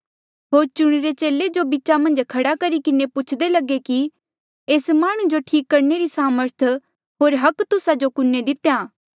होर चुणिरे चेले जो बीचा मन्झ खड़ा करी किन्हें पुछदे लगे कि एस माह्णुं जो ठीक करणे री सामर्थ होर अधिकार तुस्सा जो कुणहें दितेया